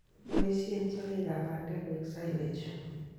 Boisyen sogeek ap bandek koek silage